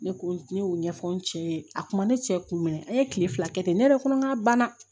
Ne ko ne y'o ɲɛfɔ n cɛ ye a kuma ne cɛ kun mɛn an ye tile fila kɛ ten ne yɛrɛ kɔni ka ban dɛ